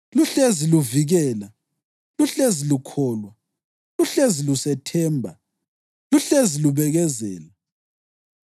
Luhlezi luvikela, luhlezi lukholwa, luhlezi lusethemba, luhlezi lubekezela.